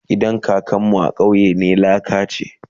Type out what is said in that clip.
gidan kakan mu a kauye na laka ne